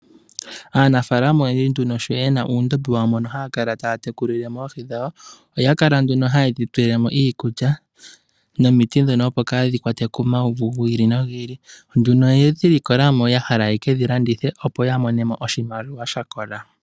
Aanafalama oyendji nduno sho yena uundombe wawo mono haya kala taya tekulile mo oohi dhawo. Oya kala nduno haye dhi tulile mo iikulya nomiti dhono, opo kadhi kwatwe komauvu gi ili nogi ili. Nduno oyedhi likola mo ya hala ya kedhi landithe opo ya mone mo oshimaliwa sha kola.